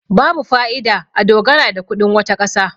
babu fa'ida a dogara da kudin wata kasa